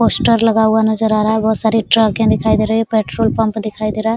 Poster लगा हुआ नजर आ रहा है बहुत सारी ट्रकें दिखाई दे रही है पेट्रोल पंप दिखाई दे रहा है।